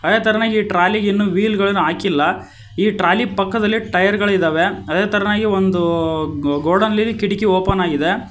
ಅದೇ ತರ ಈ ಟ್ರಾಲಿ ಗೆ ಇನ್ನೂ ವೀಲ್ ಗಳನ್ನ ಹಾಕಿಲ್ಲ ಟ್ರಾಲಿ ಪಕ್ಕದಲ್ಲಿ ಟೈರ್ ಗಳು ಇದ್ದಾವೆ ಅದೇ ತರನಾಗಿ ಒಂದು ಗೋಡನ್ ನಲ್ಲಿ ಕಿಟಕಿ ಓಪನ್ ಆಗಿದೆ.